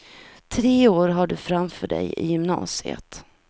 Tre år har du framför dig i gymnasiet.